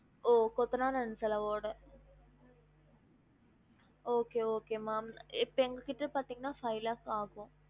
ஓ கொத்தனார் and செலவோட okay okay மா இப்ப எங்க கிட்ட பாத்திங்கனா five lakh ஆகும்